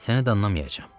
Səni danlamayacam.